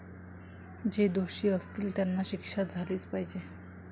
जे दोषी असतील त्यांना शिक्षा झालीच पाहिजे.